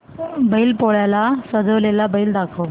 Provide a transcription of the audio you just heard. बैल पोळ्याला सजवलेला बैल दाखव